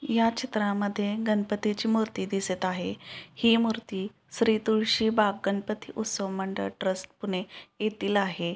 या चित्रामध्ये गणपतीची मूर्ती दिसत आहे ही मूर्ती श्री तुळसीबाग गणपती उत्सव मंडळ ट्रस्ट पुणे येथील आहे.